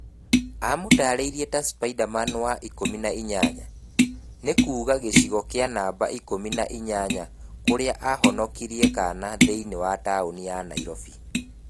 Aamũtaarĩirie ta "Spiderman wa ikũmi na inyanya", ni kuuga gĩcigo kĩa namba ikumi na inyanya kũrĩa ahonokirie kana thĩinĩ tauni ya Nairobi.